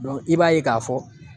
i b'a ye k'a fɔ